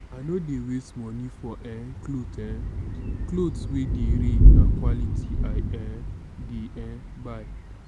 i no dey waste moni for um clothes um clothes wey dey reign na quality i um dey um buy.